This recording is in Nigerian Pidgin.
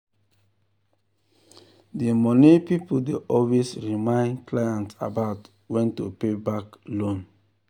di money people dey always remind clients about when to pay back loan.